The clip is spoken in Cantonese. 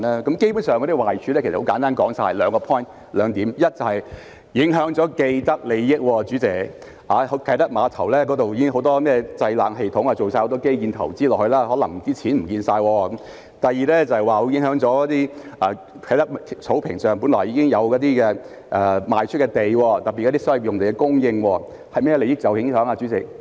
基本上，壞處其實很簡單，只有數點：第一是影響了既得利益，因為啟德碼頭一帶已有很多製冷系統，已進行了很多基建投資，故所花的錢可能會失去；第二是會影響在啟德草坪上一些已賣出的土地，特別是影響所謂的用地供應，甚麼利益會受影響呢？